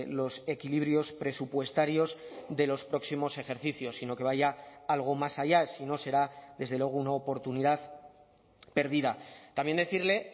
los equilibrios presupuestarios de los próximos ejercicios sino que vaya algo más allá si no será desde luego una oportunidad perdida también decirle